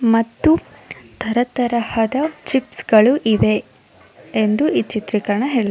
ಮತ್ತು ತರಾ ತರಹದ ಚಿಪ್ಸ್ ಗಳು ಇದೆ ಎಂದು ಈ ಚಿತ್ರೀಕರಣ ಹೇಳು --